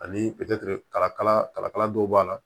Ani kalakala kalakala dɔw b'a la